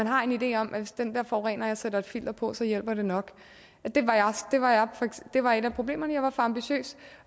har en idé om at hvis den der forurener sætter et filter på så hjælper det nok det var et af problemerne jeg var for ambitiøs